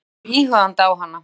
Lena lítur íhugandi á hana.